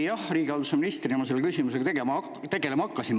Jah, riigihalduse ministrina ma selle küsimusega tegelema hakkasin.